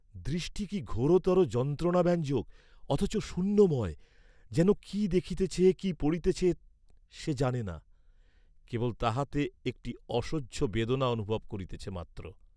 দৃষ্টি কি ঘোরতর যন্ত্রণাব্যঞ্জক, অথচ শূন্যময়, যেন কি দেখিতেছে কি পড়িতেছে সে জানে না, কেবল তাহাতে একটি অসহা বেদনা অনুভব করিতেছে মাত্র।